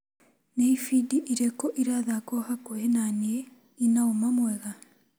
Ni ibindi irĩkũ irathkwo hakuhĩ na niĩ ina ũma mwega?